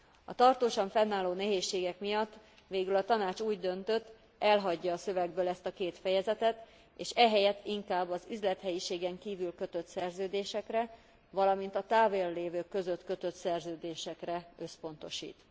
A tartósan fennálló nehézségek miatt végül a Tanács úgy döntött, elhagyja a szövegből ezt a két fejezetet, és ehelyett inkább az üzlethelyiségen kívül kötött szerződésekre, valamint a távollévők között kötött szerződésekre összpontosít.